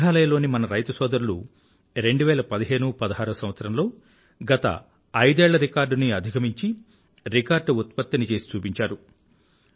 మేఘాలయ లోని మన రైతుసొదరులు 201516సంవత్సరంలో గత ఐదేళ్ల రికార్డునీ అధుగమించి రికార్డ్ ఉత్పత్తిని చేసి చూపించారు